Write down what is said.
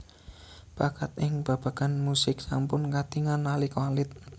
Bakat ing babagan musik sampun katingal nalika alit